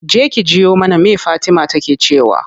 Je ki jiyo mana me fatima take cewa.